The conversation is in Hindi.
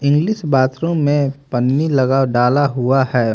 इंग्लिश बाथरूम में पन्नी लगा डाला हुआ हैं।